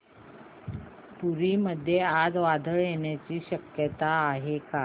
पुरी मध्ये आज वादळ येण्याची शक्यता आहे का